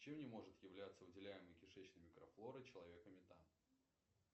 чем не может являться выделяемый кишечной микрофлорой человека метан